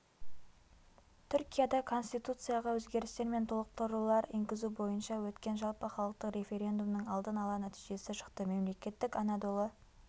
түркияда конституцияға өзгерістер мен толықтырулар енгізу бойынша өткен жалпыхалықтық референдумның алдын ала нәтижесі шықты мемлекеттік анадолы